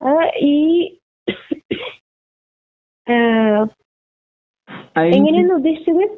അ ഈ ഏഹ് എങ്ങനെയാണ് ഉദ്ദേശിച്ചത്?